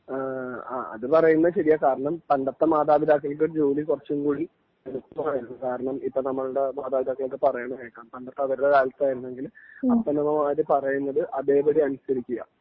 അ അതുപറയുന്നത് ശരിയാ കാരണം പണ്ടത്തെ മാതാപിതാക്കൾക്ക് ജോലി കുറച്ചും കൂടി എളുപ്പമായിരുന്നു. കാരണം ഇപ്പോ നമ്മളുടെ മാതാപിതാക്കൾ ഒക്കെ പറേണത് കേൾക്കാം പണ്ടത്തെ അവരുടെ കാലത്തായിരുന്നെങ്കില് അപ്പനമ്മമാര് പറയുന്നത് അതേ പടി അനുസരിക്കുക